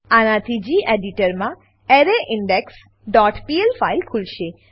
આનાથી ગેડિટર માં એરેઇન્ડેક્સ ડોટ પીએલ ફાઈલ ખુલશે